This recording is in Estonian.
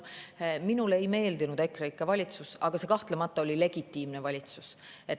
Minule ei meeldinud EKREIKE valitsus, aga see kahtlemata oli legitiimne valitsus.